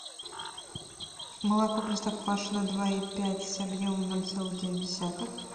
молоко простоквашино два и пять объемом ноль целых девять десятых